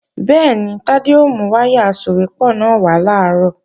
Bẹ́ẹ̀ni, Tádé ó mú wáyà asòwépọ̀ náà wá làárọ̀